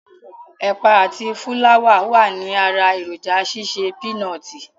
Ẹ̀pà àti fúláwà wàní ara èròǹjà ṣíṣe pínọtì.